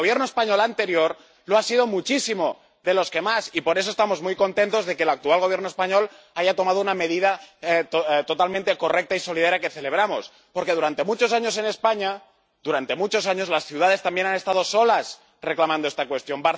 El Gobierno español anterior lo ha sido muchísimo, de los que más, y por eso estamos muy contentos de que el actual Gobierno español haya tomado una medida totalmente correcta y solidaria que celebramos, porque, durante muchos años en España, las ciudades también han estado solas reclamando esta cuestión.